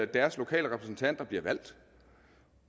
deres lokale repræsentanter bliver valgt